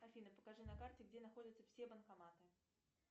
афина покажи на карте где находятся все банкоматы